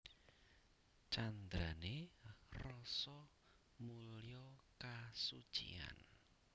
Candrané Rasa mulya kasuciyan